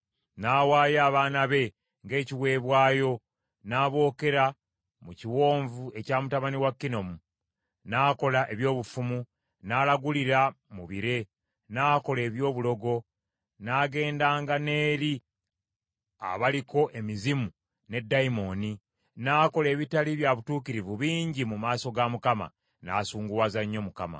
N’awaayo abaana be ng’ekiweebwayo, n’abookera mu kiwonvu ekya mutabani wa Kinomu, n’akola eby’obufumu, n’alagulira mu bire, n’akola eby’obulogo, n’agendanga n’eri abaliko emizimu ne ddayimooni. N’akola ebitaali bya butuukirivu bingi mu maaso ga Mukama , n’asunguwaza nnyo Mukama .